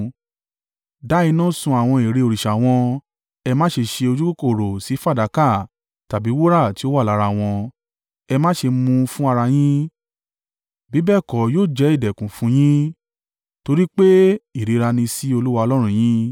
Dá iná sun àwọn ère òrìṣà wọn, ẹ má ṣe ṣe ojúkòkòrò sí fàdákà tàbí wúrà tí ó wà lára wọn. Ẹ má ṣe mú un fún ara yín, bí bẹ́ẹ̀ kọ́ yóò jẹ́ ìdẹ̀kùn fún un yín, torí pé ìríra ni sí Olúwa Ọlọ́run yín.